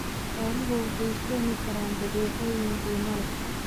Xooluhu waxay keeni karaan badeecooyin qiimo leh.